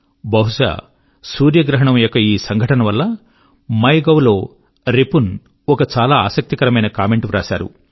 బహుశా సూర్యగ్రహణం యొక్క ఈ సంఘటన వల్ల మై గోవ్ లో రిపున్ ఒక చాలా ఆసక్తికరమైన కామెంట్ వ్రాశారు